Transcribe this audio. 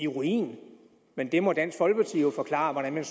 ruin men der må dansk folkeparti jo forklare hvordan man